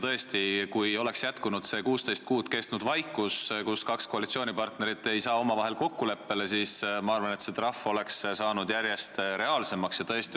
Tõesti, kui oleks jätkunud see 16 kuud kestnud vaikus, sest kaks koalitsioonipartnerit ei saanud omavahel kokkuleppele, siis ma arvan, et see trahv oleks saanud järjest reaalsemaks.